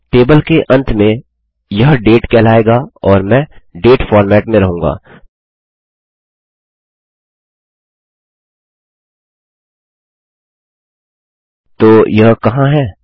table के अंत में यह डेट कहलाएगा और मैं डेट फॉर्मेट में रहूँगा तो यह कहाँ है